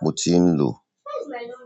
mo ti ń lò.